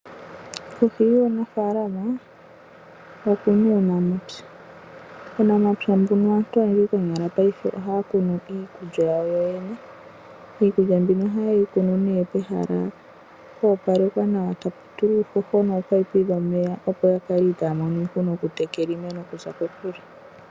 Kohi yuunafaalama oku na uunamapya. Uunamapya mbuno aantu konyala paife ohaya kunu iikulya ya wo yo yene. Iikulya mbino ohaye yi kunu nee pehala po opalekwa nawa, tapu tulwa uuhoho nominino dhomeya, opo ya kale itaa ya mono iihuna okutekela iimeno okuza kokule.